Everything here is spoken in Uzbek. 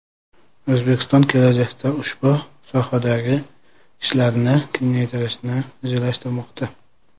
O‘zbekiston kelajakda ushbu sohadagi ishlarni kengaytirishni rejalashtirmoqda.